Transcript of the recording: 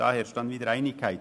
hierin herrscht Einigkeit.